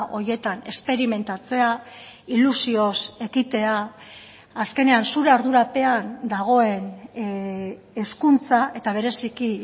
horietan esperimentatzea ilusioz ekitea azkenean zure ardurapean dagoen hezkuntza eta bereziki